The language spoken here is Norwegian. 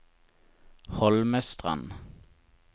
Holmestrand